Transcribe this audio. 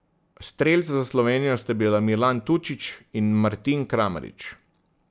Strelca za Slovenijo sta bila Milan Tučić in Martin Kramarič.